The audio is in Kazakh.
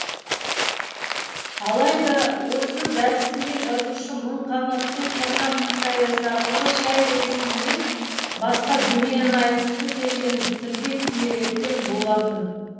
алайда осы дәрісінде жазушы мың қанатты тырна хикаясы арқылы шәй рәсімінен басқа дүниені айтқысы келгенін тілге тиек еткен болатын